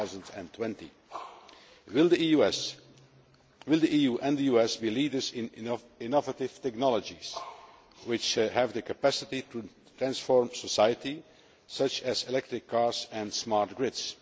2020. Will the EU and the US be leaders in innovative technologies which have the capacity to transform society, such as electric cars and smart grids?